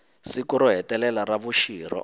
siku ro hetelela ra vuxirho